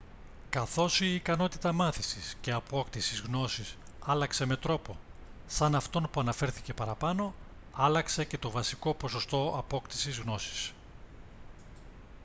καθώς η ικανότητα μάθησης και απόκτησης γνώσης άλλαξε με τρόπο σαν αυτόν που αναφέρθηκε παραπάνω άλλαξε και το βασικό ποσοστό απόκτησης γνώσης